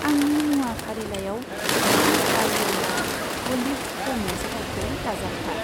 आंनि मुवा फारिलाइयाव से लिटार व'यला अलिव प'मेस थावखौ दाजाबफा।